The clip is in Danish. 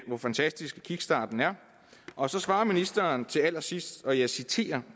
hvor fantastisk kickstarten er og så svarer ministeren til allersidst og jeg citerer